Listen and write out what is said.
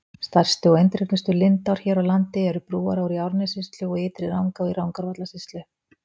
Stærstu og eindregnustu lindár hér á landi eru Brúará í Árnessýslu og Ytri-Rangá í Rangárvallasýslu.